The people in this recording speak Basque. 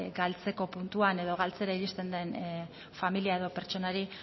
galtzeko puntuan edo galtzera iristen den familia edo pertsonari